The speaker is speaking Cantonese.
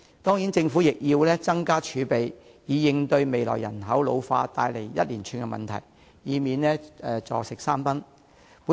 當然，政府亦要增加儲備，以應對未來人口老化帶來的一連串問題，以免出現"坐食山崩"的情況。